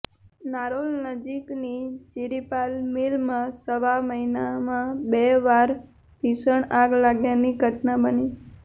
નારોલ નજીકની ચિરીપાલ મીલમાં સવા મહિનામાં બે વાર ભીષણ આગ લાગ્યાની ઘટના બની